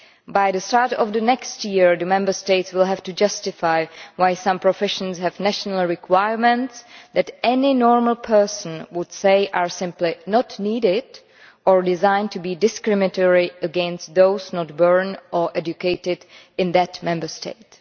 By the start of next year, Member States will have to justify why some professions have national requirements that any normal person would say are simply not needed or are designed to be discriminatory against those not born or educated in that Member State.